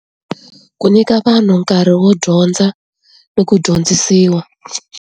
Ku nyika vanhu nkarhi wo dyondza ni ku dyondzisiwa.